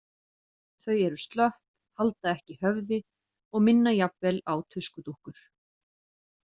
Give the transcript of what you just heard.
Þau eru slöpp, halda ekki höfði og minna jafnvel á tuskudúkkur.